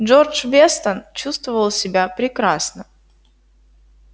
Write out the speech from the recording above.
джордж вестон чувствовал себя прекрасно